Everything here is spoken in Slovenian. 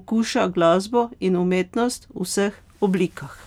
okuša glasbo in umetnost v vseh oblikah.